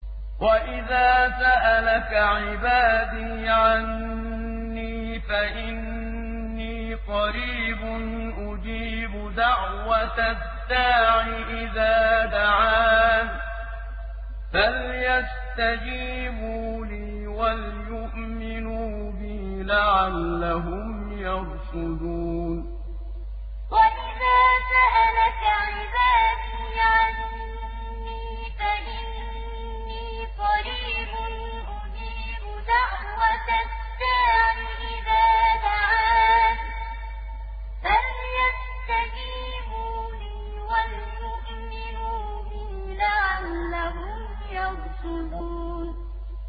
وَإِذَا سَأَلَكَ عِبَادِي عَنِّي فَإِنِّي قَرِيبٌ ۖ أُجِيبُ دَعْوَةَ الدَّاعِ إِذَا دَعَانِ ۖ فَلْيَسْتَجِيبُوا لِي وَلْيُؤْمِنُوا بِي لَعَلَّهُمْ يَرْشُدُونَ وَإِذَا سَأَلَكَ عِبَادِي عَنِّي فَإِنِّي قَرِيبٌ ۖ أُجِيبُ دَعْوَةَ الدَّاعِ إِذَا دَعَانِ ۖ فَلْيَسْتَجِيبُوا لِي وَلْيُؤْمِنُوا بِي لَعَلَّهُمْ يَرْشُدُونَ